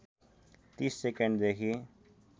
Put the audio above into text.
३० सेकेन्डदेखि